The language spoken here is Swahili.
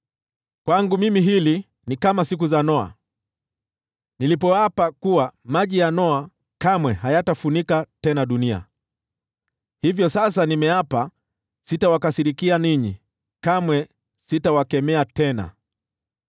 “Kwangu mimi jambo hili ni kama siku za Noa, nilipoapa kuwa maji ya Noa kamwe hayatafunika tena dunia. Hivyo sasa nimeapa sitawakasirikia ninyi, kamwe sitawakemea tena.